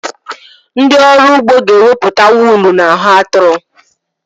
Ndị ọrụ ugbo ga-ewepụta wuulu n'ahụ atụrụ.